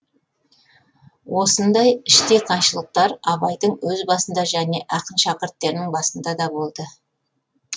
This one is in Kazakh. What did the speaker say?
осындай іштей қайшылықтар абайдың өз басында және ақын шәкірттерінің басында да болды